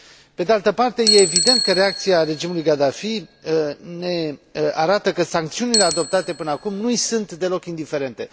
Pe de altă parte, este evident că reacția regimului Gaddafi ne arată că sancțiunile adoptate până acum nu îi sunt deloc indiferente.